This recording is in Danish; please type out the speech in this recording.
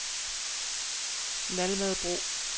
Naldmadebro